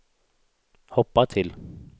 hoppa till